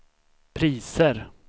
priser